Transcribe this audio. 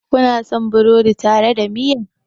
Kuna son burodi tare da miya?